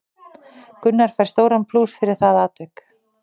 Gunnar fær stóran plús fyrir það atvik.